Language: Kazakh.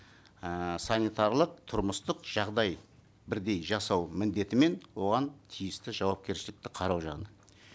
ііі санитарлық тұрмыстық жағдай бірдей жасау міндеті мен оған тиісті жауапкершілікті қарау жағынан